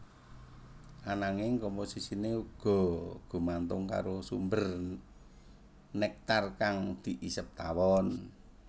Ananging komposisiné uga gumantung karo sumber néktar kang diisep tawon